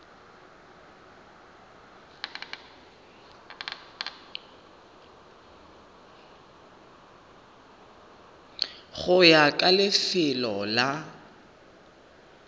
go ya ka lefelo la